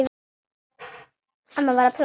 Amma var að prjóna sokka.